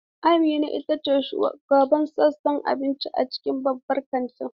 Amina ita ce shugabar sashen abinci a cikin babban kantin.